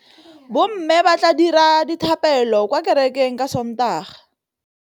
Bommê ba tla dira dithapêlô kwa kerekeng ka Sontaga.